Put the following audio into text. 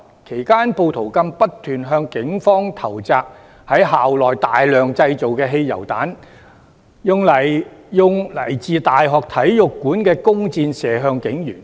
其間，暴徒更不斷向警方投擲於校內大量製造的汽油彈，使用來自大學體育館的弓箭射向警員。